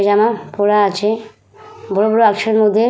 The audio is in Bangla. জামা পরা আছে বড় বড় মধ্যে।